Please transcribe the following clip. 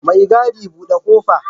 Mai gadi, bude ƙofa!